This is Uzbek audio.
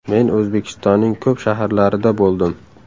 Men O‘zbekistonning ko‘p shaharlarida bo‘ldim.